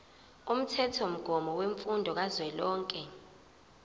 umthethomgomo wemfundo kazwelonke